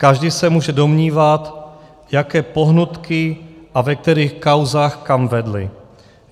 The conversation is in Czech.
Každý se může domnívat, jaké pohnutky a ve kterých kauzách kam vedly.